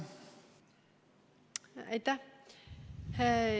Aitäh!